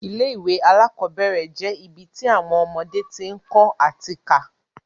Ilé ìwé alákọ́bẹ̀rẹ̀ je ibi ti awọn ọmọdé ti ń kọ́ ati ká